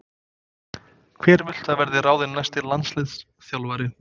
Hver viltu að verði ráðinn næsti landsliðsþjálfari?